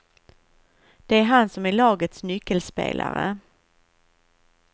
Det är han som är lagets nyckelspelare.